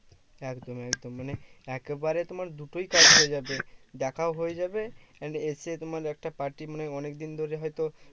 একদম একদম মানে একেবারে তোমার দুটোই কাজ হয়ে যাবে। দেখাও হয়ে যাবে and এসে তোমার একটা party মানে অনেকদিন ধরে হয়তো